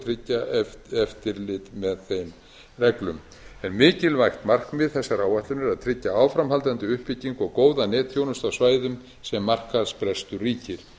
tryggja eftirlit með þeim reglum en mikilvægt markmið þessarar áætlunar er að tryggja áframhaldandi uppbyggingu og góða netþjónustu á svæðum sem markaðsbrestur ríkir